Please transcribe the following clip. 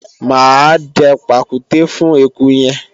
mà á dẹ pàkúté fún eku yẹn